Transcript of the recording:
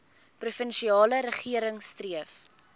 provinsiale regering streef